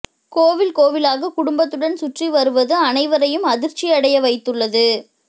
கோவில் கோவிலாக குடும்பத்துடன் சுற்றி வருவது அனைவரையும் அதிர்ச்சியடைய வைத்துள்ளது